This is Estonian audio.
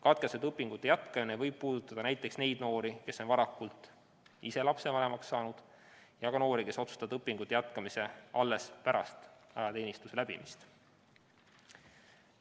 Katkestatud õpingute jätkamine võib puudutada näiteks neid noori, kes on varakult ise lapsevanemaks saanud, ja ka noori, kes otsustavad õpingute jätkamise alles pärast ajateenistuse läbimist.